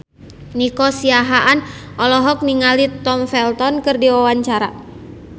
Nico Siahaan olohok ningali Tom Felton keur diwawancara